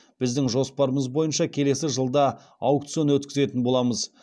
біздің жоспарымыз бойынша келесі жылда аукцион өткізетін боламыз